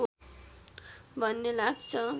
भन्ने लाग्छ